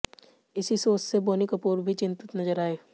इसी सोच से बोनी कपूर भी चिंतित नजर आए